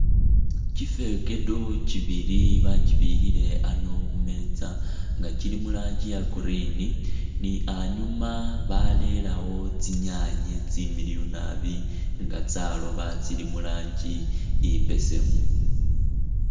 Kyifekedo kyibili bakyibikhile ano khumetsa nga kyili muranji iya green ni anyuma balelawo tsinyanye tsimiliyu nabi nga tsaloba tsili mulanji imbesemu .